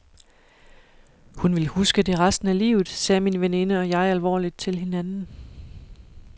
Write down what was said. Hun vil huske det resten af livet, sagde min veninde og jeg alvorligt til hinanden.